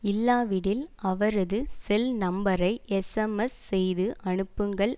இல்லாவிடில் அவரது செல் நம்பரை எஸ்எம்எஸ் செய்து அனுப்புங்கள்